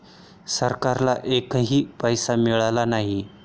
सरकारला एकही पैसा मिळाला नाही.